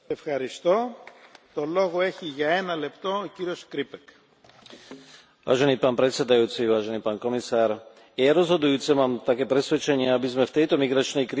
Je rozhodujúce, mám také presvedčenie, aby sme v tejto migračnej kríze správne nastavili vstupný integračný proces, pre tých, komu priznáme azyl a pobyt v Európskej únii.